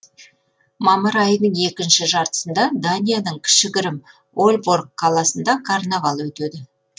мамыр айының екінші жартысында данияның кішігірім ольборг қаласында карнавал өтеді